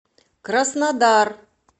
краснодар